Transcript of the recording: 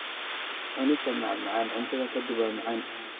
Cunista macmacaan cuntada ka dib waa macaan.